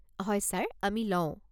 হয় ছাৰ, আমি লওঁ।